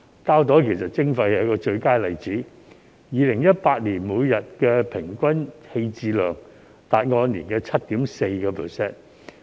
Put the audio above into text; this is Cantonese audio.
膠袋徵費就是最佳例子 ，2018 年膠袋每天平均棄置量佔 7.4%。